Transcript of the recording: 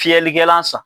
Fiyɛlikɛlan san